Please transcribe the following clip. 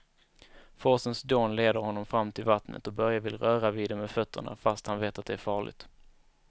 Forsens dån leder honom fram till vattnet och Börje vill röra vid det med fötterna, fast han vet att det är farligt.